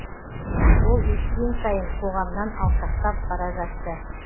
ол өскен сайын қоғамнан алшақтап бара жатты